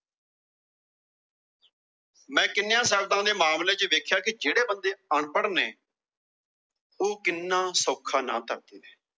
ਮੈ ਕਿੰਨਿਆਂ ਦੇ ਦੇਖਿਆ ਕਿ ਜਿਹੜੇ ਬੰਦੇ ਅਨਪੜ੍ਹ ਨੇ ਉਹ ਕਿੰਨਾ ਸੌਖਾ ਨਾ ਧਰਦੇ ਨੇ।